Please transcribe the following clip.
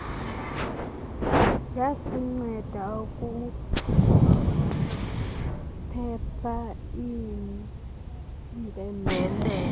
yasinceda ukuphepha iimpembelelo